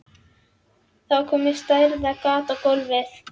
Það var komið stærðar gat í gólfið.